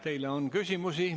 Teile on küsimusi.